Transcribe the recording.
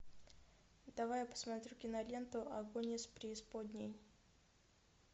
давай я посмотрю киноленту огонь из преисподней